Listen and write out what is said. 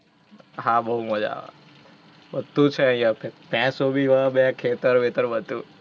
હા, બહુ મજા આવે. બધુ છે અહિંયા. ભેંસ હોવી હોઇ બે ખેતર વેતર બધુ